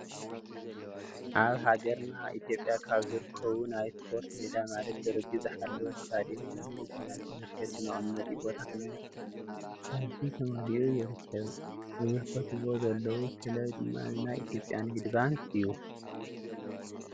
ኣብ ሃገርና ኢትዮጵያ ካብ ዝርከቡ ናይ ስፖርት ሜዳ ማለት ደረጃኡ ዝሓለወ ስታድዮም ኮይኑ እቲ ናይ ተመልከቲ መቀመጢ ቦታ ተመልካቲ መሊ ኡ ይርከብ ዝምለከትዎ ዘለዉ ክለብ ድማ ንናይ ኢትዮጵያ ንግዲ ባንክ እዩ::